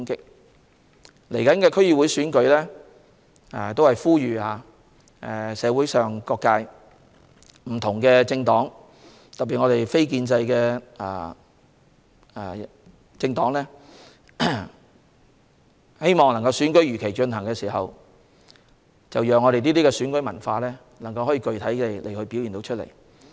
就即將舉行的區議會選舉，我呼籲社會各界和不同政黨，特別是非建制政黨，如果他們希望選舉如期舉行，就讓我們的選舉文化具體地表現出來。